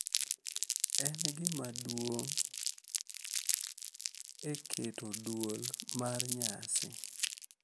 En gima duong’ e keto dwol mar nyasi,